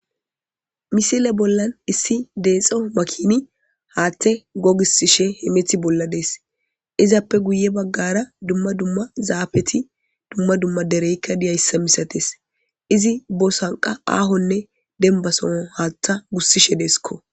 misile bollan issi deexo makini haathe gogisishe himethi bolla dees izappe guye baggara dumma dumma zaafeti dumma dumma dereykka diyayssa misates izi bosanqa aahonne dembasono haattha gussishe deeskko